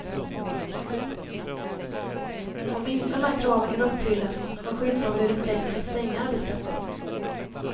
Om inte de här kraven kan uppfyllas har skyddsombudet rätt att stänga arbetsplatsen.